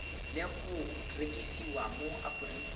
le go rekisiwa mo aforika